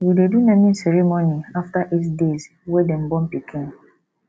we dey do naming ceremony after eight deys wey dem born pikin